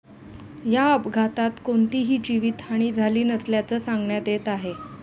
या अपघातात कोणतीही जीवितहानी झाली नसल्याचं सांगण्यात येत आहे.